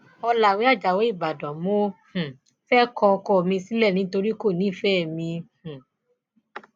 ọlàwé ajáò ìbàdàn mo um fẹẹ kọ ọkọ mi sílẹ nítorí kò nífẹẹ mi um